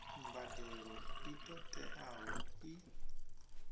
mbadelo i ṱo ḓeaho i